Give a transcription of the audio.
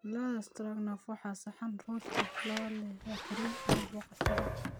Lo'da stroganoff waa saxan Ruush ah oo leh kareem iyo boqoshaada.